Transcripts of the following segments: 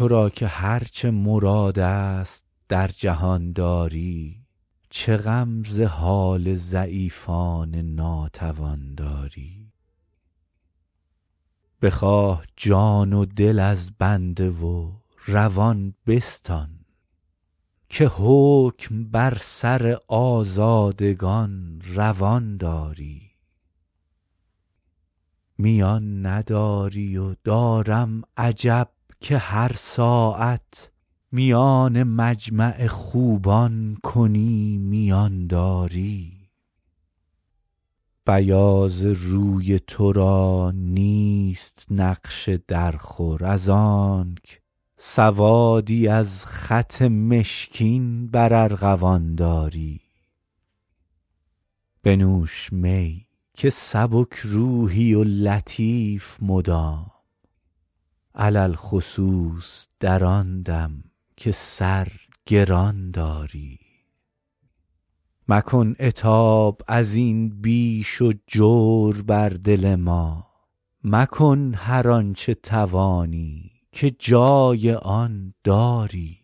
تو را که هر چه مراد است در جهان داری چه غم ز حال ضعیفان ناتوان داری بخواه جان و دل از بنده و روان بستان که حکم بر سر آزادگان روان داری میان نداری و دارم عجب که هر ساعت میان مجمع خوبان کنی میان داری بیاض روی تو را نیست نقش درخور از آنک سوادی از خط مشکین بر ارغوان داری بنوش می که سبک روحی و لطیف مدام علی الخصوص در آن دم که سر گران داری مکن عتاب از این بیش و جور بر دل ما مکن هر آن چه توانی که جای آن داری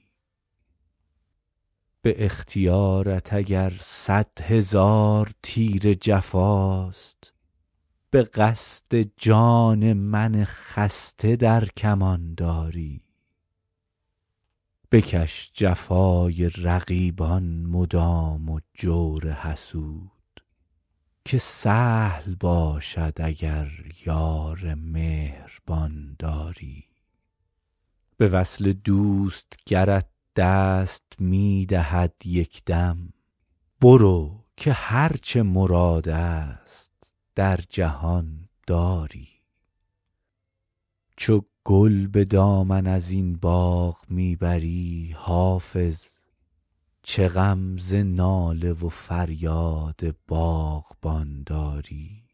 به اختیارت اگر صد هزار تیر جفاست به قصد جان من خسته در کمان داری بکش جفای رقیبان مدام و جور حسود که سهل باشد اگر یار مهربان داری به وصل دوست گرت دست می دهد یک دم برو که هر چه مراد است در جهان داری چو گل به دامن از این باغ می بری حافظ چه غم ز ناله و فریاد باغبان داری